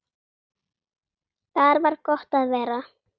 Þar var gott að vera.